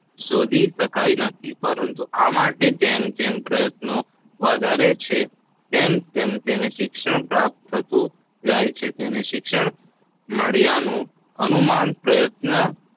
માપી શકાતો નથી પરંતુ આ માટે જેમ જેમ પ્રયતો વધારે છે તેમ તેમ તેને દિલ પ્રાપ્ત થતું જાય છે. તેને શિક્ષા મળ્યાનું અનુમાન પ્રયત્ન